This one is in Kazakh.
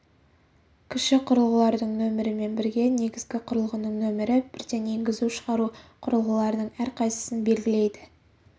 кіші құрылғылардың нөмірімен бірге негізгі құрылғының нөмірі бірден енгізу-шығару құрылғыларының әрқайсысын белгілейді